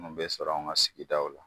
Mun bɛ sɔrɔ anw ka sigidaw la.